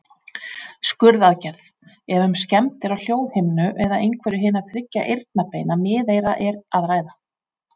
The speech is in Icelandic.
Skurðaðgerð, ef um skemmdir á hljóðhimnu eða einhverju hinna þriggja eyrnabeina miðeyra er að ræða.